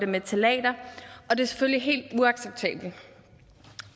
med ftalater og det er selvfølgelig helt uacceptabelt